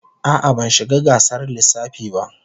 A'a, ban shiga gasar lissafi ba.